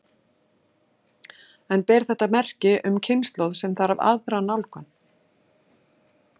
En ber þetta merki um kynslóð sem þarf aðra nálgun?